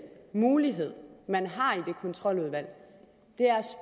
mulighed man har i det kontroludvalg